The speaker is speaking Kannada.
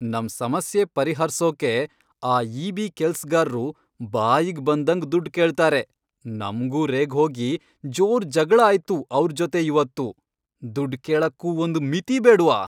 ನಮ್ ಸಮಸ್ಯೆ ಪರಿಹರ್ಸೋಕೆ ಆ ಇ.ಬಿ. ಕೆಲ್ಸ್ಗಾರ್ರು ಬಾಯಿಗ್ ಬಂದಂಗ್ ದುಡ್ಡ್ ಕೇಳ್ತಾರೆ. ನಮ್ಗೂ ರೇಗ್ಹೋಗಿ ಜೋರ್ ಜಗ್ಳ ಆಯ್ತು ಆವ್ರ್ ಜೊತೆ ಇವತ್ತು. ದುಡ್ಡ್ ಕೇಳಕ್ಕೂ ಒಂದ್ ಮಿತಿ ಬೇಡ್ವಾ!